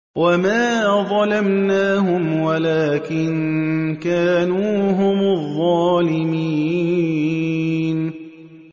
وَمَا ظَلَمْنَاهُمْ وَلَٰكِن كَانُوا هُمُ الظَّالِمِينَ